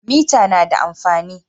Mita na da amfani.